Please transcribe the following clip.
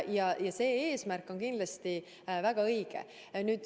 Nii et see eesmärk on kindlasti väga õige.